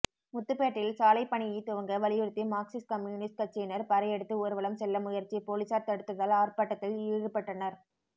முத்துப்பேட்டையில் சாலைப்பணியை துவங்க வலியுறுத்தி மார்க்சிஸ்ட் கம்யூனிஸ்ட் கட்சியினர் பறையடித்்து ஊர்வலம் செல்ல முயற்சி போலீசார் தடுத்ததால் ஆர்ப்பாட்டத்தில் ஈடுபட்டனர்